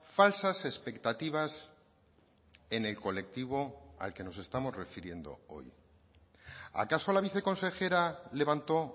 falsas expectativas en el colectivo al que nos estamos refiriendo hoy acaso la viceconsejera levantó